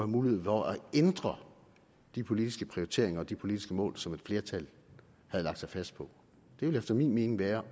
mulighed for at ændre de politiske prioriteringer og de politiske mål som et flertal havde lagt sig fast på det ville efter min mening være